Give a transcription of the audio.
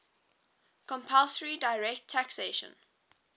compulsory direct taxation